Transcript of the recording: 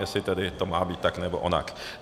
Jestli to tedy má být tak, nebo onak.